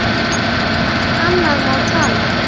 Um allt annað má tala.